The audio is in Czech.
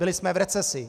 Byli jsme v recesi.